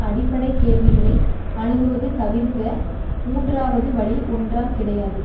அடிப்படை கேள்விகளை அணுகுவது தவிர்ந்த மூன்றாவது வழி ஒன்றாம் கிடையாது